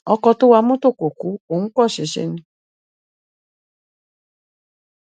ọkọ tó wa mọtò kò ku òun kàn ṣẹṣẹ ni